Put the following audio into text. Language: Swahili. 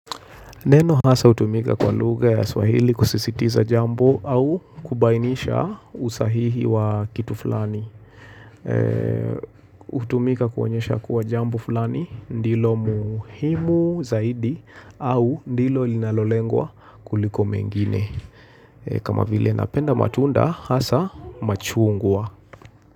Neno haswa hutumika kwa lugha ya swahili kusisitiza jambo au kubainisha usahihi wa kitu fulani. Hutumika kuonyesha kuwa jambo fulani ndilo muhimu zaidi au ndilo linalolengwa kuliko mengine. Kama vile napenda matunda hasa machungwa.